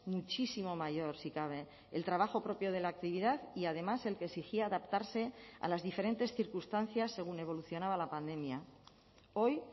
muchísimo mayor si cabe el trabajo propio de la actividad y además el que exigía adaptarse a las diferentes circunstancias según evolucionaba la pandemia hoy